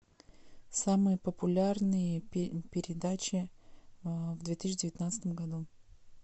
самые популярные передачи в две тысячи девятнадцатом году